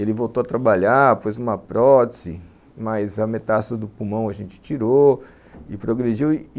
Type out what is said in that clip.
Ele voltou a trabalhar, pôs uma prótese, mas a metástase do pulmão a gente tirou e progrediu.